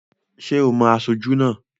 Ṣé ò mo aṣojú náà?